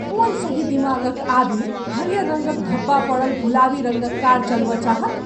कोन सही दिमाग क आदमी हरियर रङ्गक धब्बा पड़ल, गुलाबी रङ्गक कार चलबय चाहत?